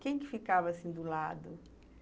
Quem que ficava, assim, do lado?